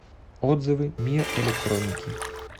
отзывы мир электроники